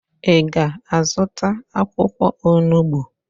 Ị ga-azụta akwụkwọ onubo?